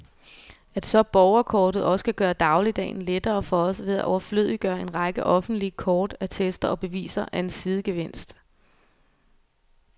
At så borgerkortet også kan gøre dagligdagen lettere for os ved at overflødiggøre en række offentlige kort, attester og beviser, er en sidegevinst.